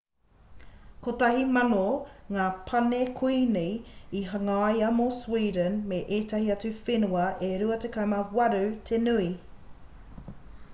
1,000 ngā pane kuini i hangaia mō sweeden me ētahi atu whenua e 28 te nui